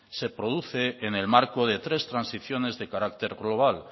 se produce en el marco de tres transiciones de carácter global